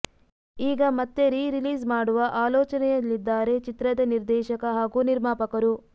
ಈಗ ಮತ್ತೆ rerelease ಮಾಡುವ ಆಲೋಚನೆಯಲ್ಲಿದ್ದಾರೆ ಚಿತ್ರದ ನಿರ್ದೇಶಕ ಹಾಗೂ ನಿರ್ಮಾಪಕರು